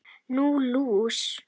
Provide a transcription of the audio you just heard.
Nú, lús